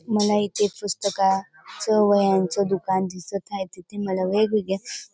मला इथे पुस्तका च वह्यांच दुकान दिसत आहे तिथे मला वेगवेगळ्या--